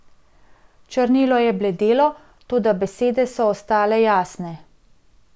Črnilo je bledelo, toda besede so ostale jasne.